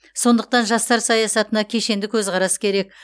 сондықтан жастар саясатына кешенді көзқарас керек